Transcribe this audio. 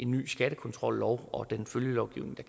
ny skattekontrollov og den følgelovgivning